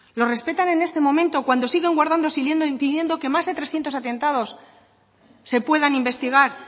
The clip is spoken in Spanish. los respetan en este momento cuando siguen guardando silencio impidiendo que más de trescientos atentados se puedan investigar